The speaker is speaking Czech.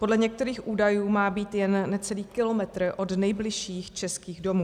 Podle některých údajů má být jen necelý kilometr od nejbližších českých domů.